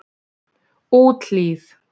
Úthlíð